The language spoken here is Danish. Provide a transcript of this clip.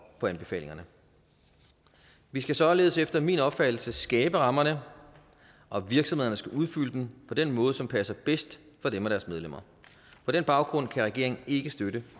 på anbefalingerne vi skal således efter min opfattelse skabe rammerne og virksomhederne skal udfylde dem på den måde som passer bedst for dem og deres medlemmer på den baggrund kan regeringen ikke støtte